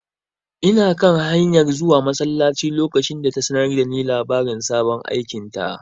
Ina kan hanyar zuwa masallaci lokacin da ta sanar da ni labarin sabon aikinta.